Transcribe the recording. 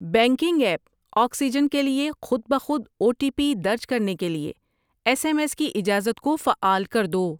Banking app oxygen کے لیے خود بہ خود او ٹی پی درج کرنے کے لیے ایس ایم ایس کی اجازت کو فعال کر دو۔